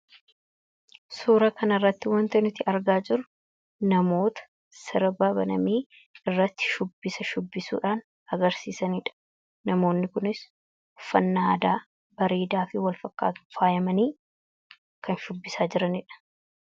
suura kanirratti wanti nuti argaa jiru namoota sirba baname irratti shubbisa shubbisuudhaan agarsiisaniidha namoonni kunis uffannaa aadaa bareedaa fi walfakkaataa faayamanii kan shubbisaa jiraniidha